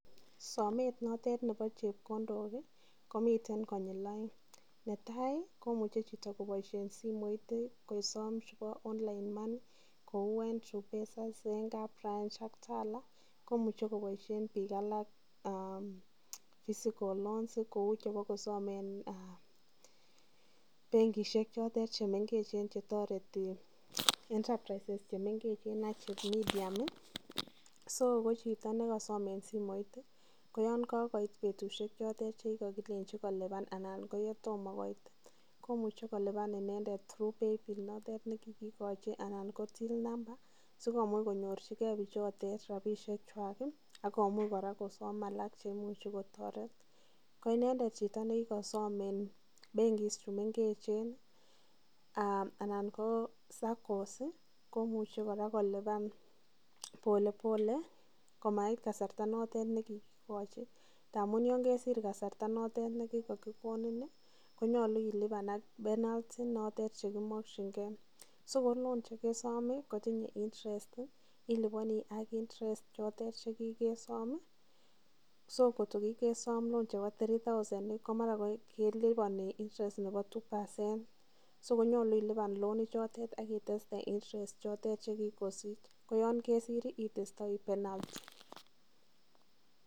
Somet notet nebo chepkondok komiten konyil aeng, netai kumuche chito koboisyen simoit kosom chebo online money kou eng tripesa ,zenka branch ak Tala ,koimuche koboisyen bik alak physical loans kou chebakosame eng benkishek chotet chemengech.